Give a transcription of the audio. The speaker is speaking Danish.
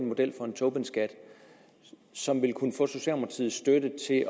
model for en tobinskat som ville kunne få socialdemokratiets støtte til at